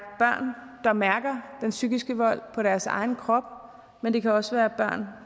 børn der mærker den psykiske vold på deres egen krop men det kan også være børn